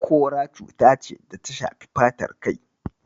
Kora cuta ce da ta shafi fatar kai.